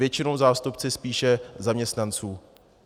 Většinou zástupci spíše zaměstnanců.